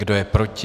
Kdo je proti?